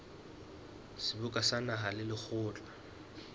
seboka sa naha le lekgotla